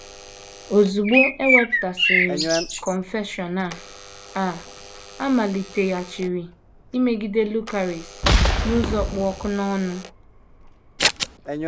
Ozugbo e wepụtasịrị Confession a, a, a maliteghachiri imegide Lucaris n’ụzọ kpụ ọkụ n’ọnụ.